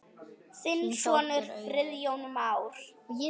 Þinn sonur, Friðjón Már.